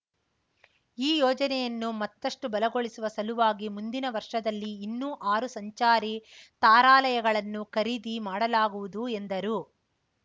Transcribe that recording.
ಈ ಯೋಜನೆಯನ್ನು ಮತ್ತಷ್ಟುಬಲಗೊಳಿಸುವ ಸಲುವಾಗಿ ಮುಂದಿನ ವರ್ಷದಲ್ಲಿ ಇನ್ನೂ ಆರು ಸಂಚಾರಿ ತಾರಾಲಯಗಳನ್ನು ಖರೀದಿ ಮಾಡಲಾಗುವುದು ಎಂದರು